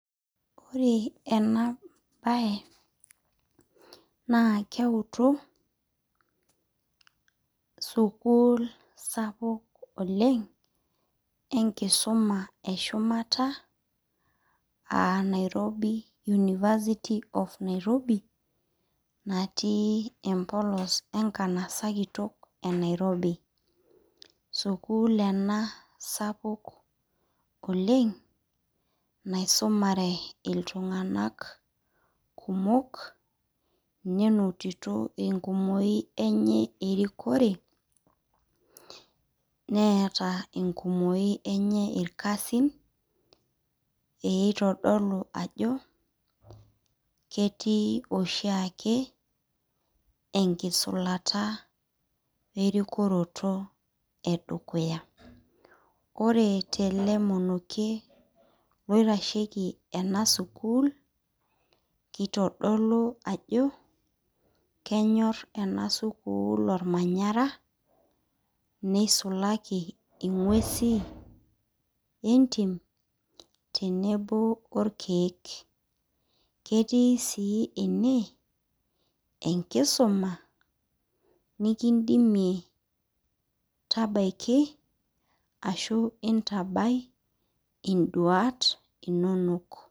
Ore ena bae, naa keutu sukuul sapuk oleng, enkisuma eshumata, ah Nairobi University of Nairobi, natii empolos enkanasa kitok e Nairobi. Sukuul ena sapuk oleng, naisumare iltung'anak kumok, nenotito enkumoyu enye erikore, neeta enkumoyu enye irkasin, peitodolu ajo, ketii oshiake, enkisulata erikoroto edukuya. Ore tele monokie loitasheki ena sukuul, kitodolu ajo, kenyor ena sukuul ormanyara, nisulaki ing'uesi entim, tenebo orkeek. Ketii si ene, enkisuma nikidimie tabaiki, ashu intabai iduat inonok.